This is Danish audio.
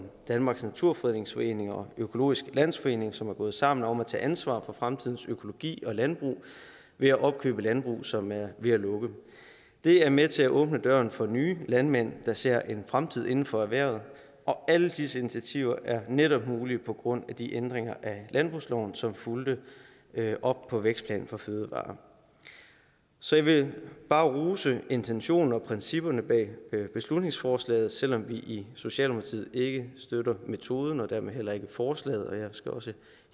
danmarks naturfredningsforening og økologisk landsforening som er gået sammen om at tage ansvar for fremtidens økologi og landbrug ved at opkøbe landbrug som er ved at lukke det er med til at åbne døren for nye landmænd der ser en fremtid inden for erhvervet og alle disse initiativer er netop mulige på grund af de ændringer af landbrugsloven som fulgte op på vækstplan for fødevarer så jeg vil bare rose intentionerne og principperne bag beslutningsforslaget selv om vi i socialdemokratiet ikke støtter metoden og dermed heller ikke forslaget jeg skal også